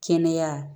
Kɛnɛya